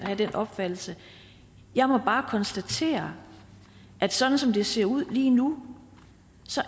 opfattelse jeg må bare konstatere at sådan som det ser ud lige nu